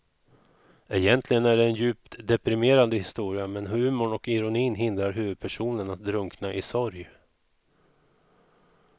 Egentligen är det en djupt deprimerande historia men humorn och ironin hindrar huvudpersonen att drunkna i sorg.